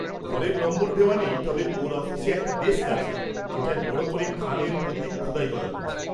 ঘরের নম্বর দেওয়া নেই তবে ওঁর অফিসে একটা ডেস্ক আছে যেটায় বড় করে খানের প্রতীক খোদাই করা রয়েছে।